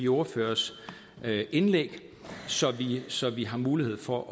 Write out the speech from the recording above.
ordførernes indlæg så så vi har mulighed for